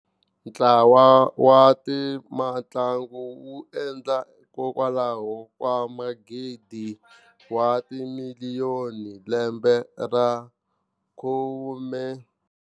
Ntlawa wa tamantlangu wu endla kokwalaho ka magidi wa timiliyonihi lembe ra khume.